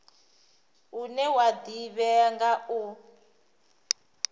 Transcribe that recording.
une wa ḓivhea nga u